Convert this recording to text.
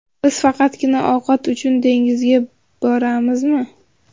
Biz faqatgina ovqat uchun dengizga boramizmi?